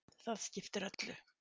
Það skiptir öllu.